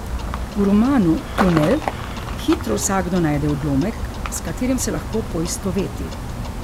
V romanu Tunel hitro vsakdo najde odlomek, s katerim se lahko poistoveti.